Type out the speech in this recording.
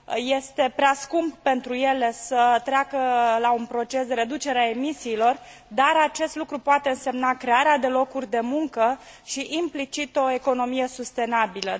este prea scump pentru ele să treacă la un proces de reducere a emisiilor, dar acest lucru poate însemna crearea de locuri de muncă și implicit o economie sustenabilă.